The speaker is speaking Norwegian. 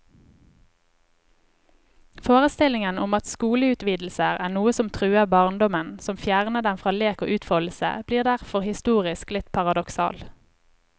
Forestillingen om at skoleutvidelser er noe som truer barndommen, som fjerner den fra lek og utfoldelse, blir derfor historisk litt paradoksal.